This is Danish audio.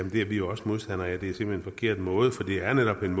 er vi jo også modstandere af det er simpelt forkert måde for det er netop en